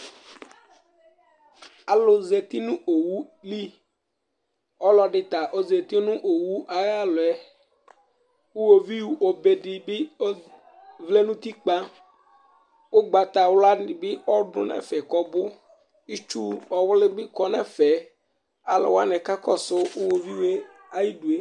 alu zati nu owu li ɔlɔɖi ta ɔza ŋʊ owu alɔ Ʊvi bé ɖɩɓi ɔvlɛŋu ɛƒec